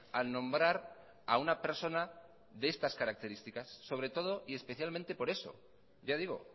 al nombrar a una persona de estas características sobre todo y especialmente por eso ya digo